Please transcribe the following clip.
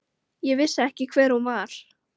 Ég vissi ekki hver hún var.